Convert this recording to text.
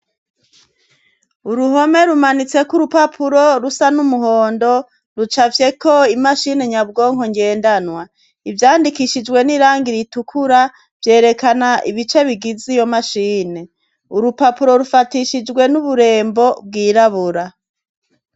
Uruhome rumanitseko urupapuro rusa n'umuhondo, rucafyeko imashini nyabwonko ngendanwa. Ivyandikishijwe n'irangi ritukura, vyerekana ibice bigize iyo mashini. Urupapuro rufatishijwe n'uburembo bwirabura.